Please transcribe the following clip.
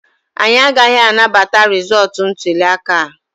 Anyị agaghị anabata rịzọọtụ ntuli aka a.